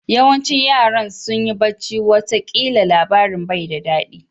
Yawancin yaran sunyi bacci wata kila labarin bai da dadi.